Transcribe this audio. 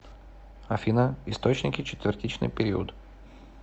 афина источники четвертичный период